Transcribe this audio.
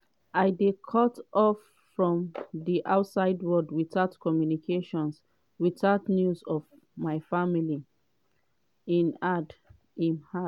i dey cut-off from di outside world witout communications witout news of my family" im add.